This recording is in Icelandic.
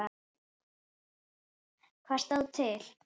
Hvað stóð til?